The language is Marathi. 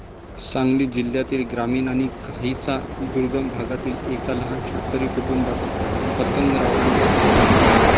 सांगली जिल्ह्यातील ग्रामीण आणि काहीसा दुर्गम भागातील एका लहान शेतकरी कुटुंबात पतंगरावांचा जन्म झाला.